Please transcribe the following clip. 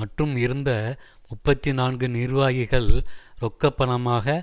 மற்றும் இருந்த முப்பத்தி நான்கு நிர்வாகிகள் ரொக்கப்பணமாக